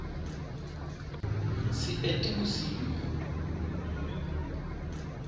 seetebosigo